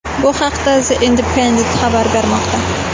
Bu haqda The Independent xabar bermoqda .